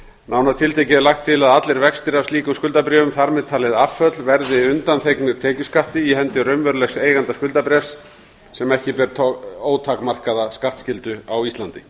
nánar tiltekið er lagt til að allir vextir af slíkum skuldabréfum þar með talin afföll verði undanþegnir tekjuskatti í hendi raunverulegs eiganda skuldabréfs sem ekki ber ótakmarkaða skattskyldu á íslandi